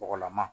Bɔgɔlama